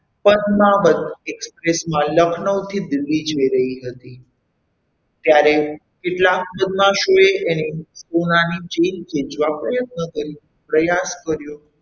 Padmaavat Express એટલે લખનવ થી દિલ્હી જઈ રહી હતી ત્યારે કેટલાક બદમાશ હોય એની ગળાની ચેન ખેંચવા પ્રયત્ન કર્યો પ્રયાસ કર્યો.